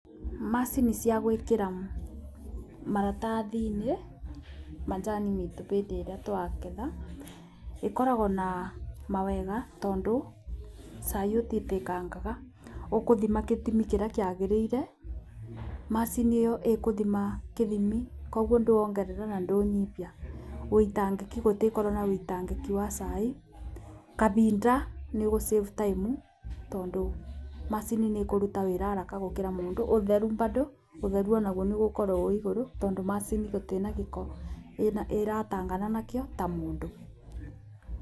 Macini cia gwĩkĩra maratathi-inĩ majani-inĩ bĩndĩ ĩrĩa twaketha ĩkoragwo na mawega, tondũ cai ũtitĩkangaga, ũkũthima kĩthimi kĩrĩa kĩagĩrĩire,m acini ĩyo ĩkũthima kĩthimi koguo ndũongerera na ndũnyibia. Wĩitangĩki, gũtikorwo na ũitangĩki wa cai, kabinda, nĩ ũgũ save time, tondũ macini nĩ ĩkũruta wĩra haraka gũkĩra mũndũ, ũtheru bado, ũtheru o naguo nĩ ũgũkorwo wĩ igũrũ, tondũ macini gũtĩna gĩko ĩratangana nakĩo ta mũndũ.